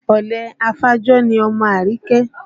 Ọ̀lẹ afàjò ni ọmọ Àríkẹ́